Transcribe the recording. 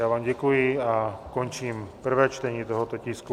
Já vám děkuji a končím prvé čtení tohoto tisku.